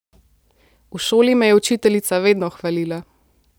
V šoli me je učiteljica vedno hvalila.